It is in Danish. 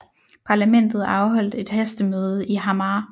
Parlamentet afholdt et hastemøde i Hamar